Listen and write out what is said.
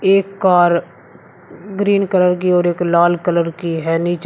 एक car green colour की और एक लाल कलर की है नीचे--